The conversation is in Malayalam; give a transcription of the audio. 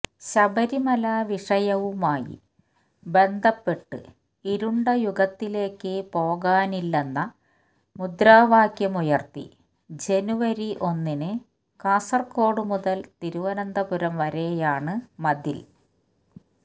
ശബരിമല വിഷയവുമായി ബന്ധപ്പെട്ട് ഇരുണ്ട യുഗത്തിലേക്ക് പോകാനില്ലെന്ന മുദ്രാവാക്യമുയർത്തി ജനുവരി ഒന്നിന് കാസര്കോഡ് മുതൽ തിരുവനന്തപുരം വരെയാണ് മതിൽ